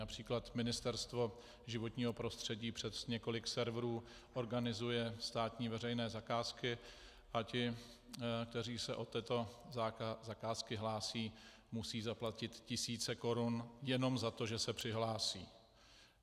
Například Ministerstvo životního prostředí přes několik serverů organizuje státní veřejné zakázky a ti, kteří se o tyto zakázky hlásí, musí zaplatit tisíce korun jenom za to, že se přihlásí.